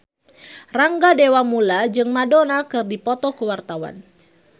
Rangga Dewamoela jeung Madonna keur dipoto ku wartawan